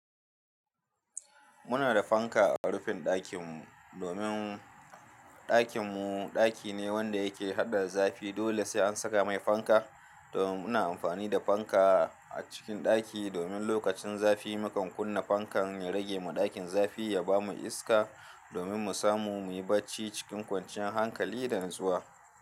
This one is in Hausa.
Muna da fanka a rufin ɗakin mu. Domin ɗakin mu ɗaki ne wanda yake hada zafi. Dole sai an saka mai fanka. Domin muna amfani da fanka a cikin ɗaki. Domin lokacin zafi mukan kunna fankan ya rage ma ɗakin zafi, ya ba mu iska. Domin mu samu muyi bacci cikin kwanciyar hankali da nutsuwa.